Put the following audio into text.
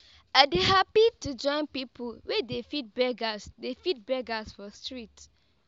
i dey hapi to join pipu wey dey feed beggers dey feed beggers for street.